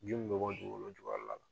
Ji min mi bɔ dugukolo jukɔrɔ la